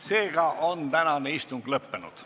Seega on tänane istung lõppenud.